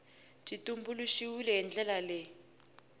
byi tumbuluxiwile hi ndlela leyi